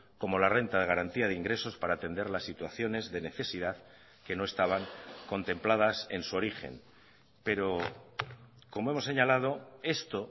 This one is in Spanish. como la renta de garantía de ingresos para atender las situaciones de necesidad que no estaban contempladas en su origen pero como hemos señalado esto